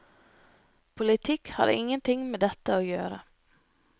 Politikk har ingenting med dette å gjøre.